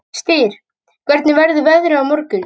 Styr, hvernig verður veðrið á morgun?